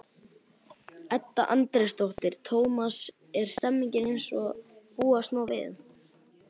Edda Andrésdóttir: Tómas, er stemningin eins og búast má við?